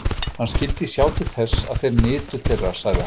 Hann skyldi sjá til þess, að þeir nytu þeirra, sagði hann.